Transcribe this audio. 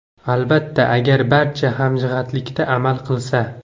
Albatta, agar barcha hamjihatlikda amal qilsa.